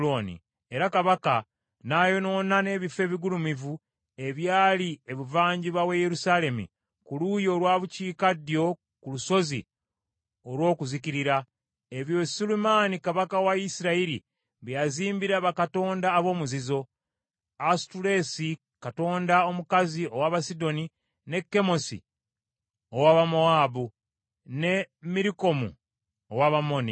Era kabaka n’ayonoona n’ebifo ebigulumivu ebyali ebuvanjuba w’e Yerusaalemi ku luuyi olwa bukiikaddyo ku lusozi olw’okuzikirira, ebyo Sulemaani kabaka wa Isirayiri bye yazimbira bakatonda ab’omuzizo: Asutoleesi katonda omukazi ow’Abasidoni, ne Kemosi ow’Abamowaabu, ne Mirukomu ow’Abamoni.